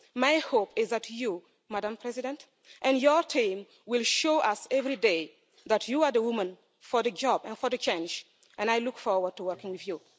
My hope is that you, Madam President, and your team will show us every day that you are the woman for the job and for the change and I look forward to working with you.